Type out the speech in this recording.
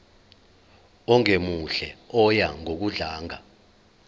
ongemuhle oya ngokudlanga